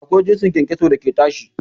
Akwai jinsin kyankyaso da ke tashi